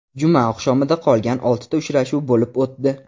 Juma oqshomida qolgan olti uchrashuv bo‘lib o‘tdi.